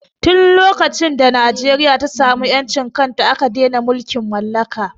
Tin lokacin da Najeriya ta samu ƴancin kanta aka dene mulkin mallaka